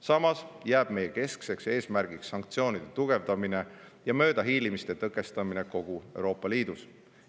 Samas jääb meie keskseks eesmärgiks sanktsioonide tugevdamine ja möödahiilimiste tõkestamine kogu Euroopa Liidus.